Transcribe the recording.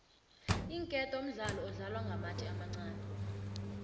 iinketo mdlalo odlalwa ngamatje amancani